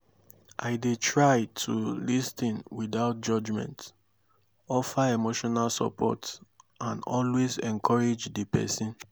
i dey try to lis ten without judgment offer emotional support and always encourage di pesin.